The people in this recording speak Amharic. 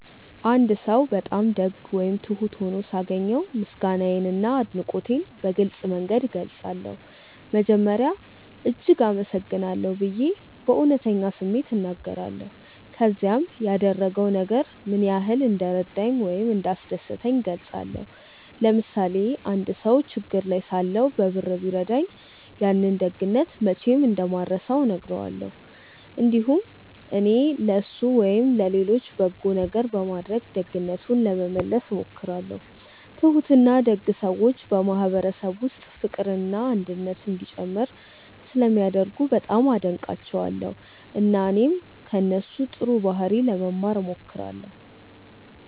አንድ ሰው በጣም ደግ ወይም ትሁት ሆኖ ሳገኘው ምስጋናዬንና አድናቆቴን በግልጽ መንገድ እገልጻለሁ። መጀመሪያ “እጅግ አመሰግናለሁ” ብዬ በእውነተኛ ስሜት እናገራለሁ፣ ከዚያም ያደረገው ነገር ምን ያህል እንደረዳኝ ወይም እንዳስደሰተኝ እገልጻለሁ። ለምሳሌ አንድ ሰው ችግር ላይ ሳለሁ በብር ቢረዳኝ፣ ያንን ደግነት መቼም እንደማልረሳው እነግረዋለሁ። እንዲሁም እኔም ለእሱ ወይም ለሌሎች በጎ ነገር በማድረግ ደግነቱን ለመመለስ እሞክራለሁ። ትሁትና ደግ ሰዎች በማህበረሰብ ውስጥ ፍቅርና አንድነት እንዲጨምር ስለሚያደርጉ በጣም አደንቃቸዋለሁ፣ እና እኔም ከእነሱ ጥሩ ባህሪ ለመማር እሞክራለሁ።